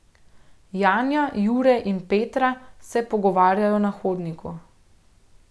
Janja, Jure in Petra se pogovarjajo na hodniku.